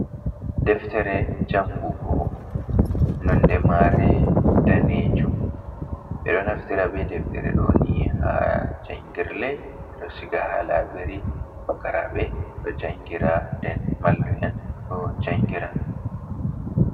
Deftere jangugo nonde ma're danejum, ɓe ɗo naftira be deftere ɗoni ha jangirle ɓeɗo siga ha labiri, pukaraɓe ɗojangira, den mallum en ɗo jangira.